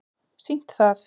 sýnt það